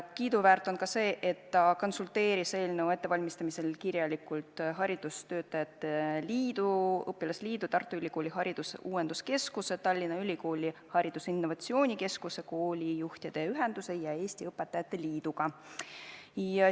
Kiiduväärt on ka see, et ta konsulteeris eelnõu ettevalmistamisel kirjalikult haridustöötajate liidu, õpilasliidu, Tartu Ülikooli haridusuuenduskeskuse, Tallinna Ülikooli haridusinnovatsiooni keskuse, koolijuhtide ühenduse ja Eesti Õpetajate Liiduga.